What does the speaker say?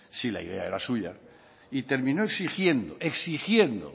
si la idea era suya y terminó exigiendo